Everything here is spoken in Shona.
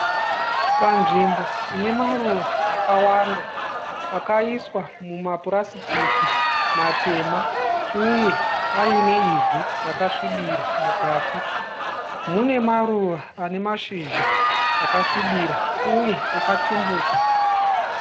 Panzvimbo inemaruva akawanda. Akaiswa mumapurasiti matema. Uye aine ivhu rakasvibira mukati. Mune maruva anemashizha akasvibira uye akatumbuka.